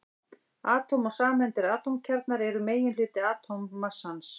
Atóm og sameindir Atómkjarnar eru meginhluti atómmassans.